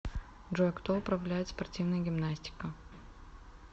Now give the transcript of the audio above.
джой кто управляет спортивная гимнастика